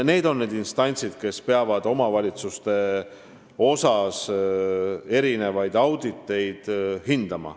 Need on need instantsid, kes peavad omavalitsustes tehtud auditeid hindama.